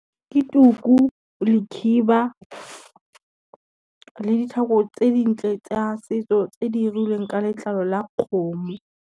Ke tuku, le khiba, le ditlhako tse dintle tsa setso tse di irilweng ka letlalo la kgomo.